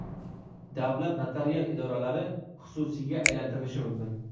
Davlat notarial idoralari xususiyga aylantirilishi mumkin.